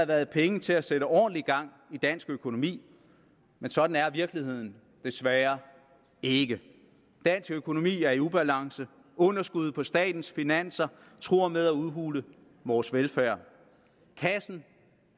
været penge til at sætte ordentlig gang i dansk økonomi men sådan er virkeligheden desværre ikke dansk økonomi er i ubalance og underskuddet på statens finanser truer med at udhule vores velfærd kassen